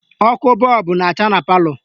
Ọkụ bọọbụ na-acha na palọ